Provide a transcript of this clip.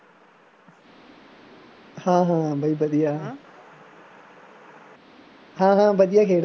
ਹਾਂ ਹਾਂ ਬਾਈ ਵਧੀਆ ਹਾਂ ਹਾਂ ਵਧੀਆ ਖੇਡਦਾ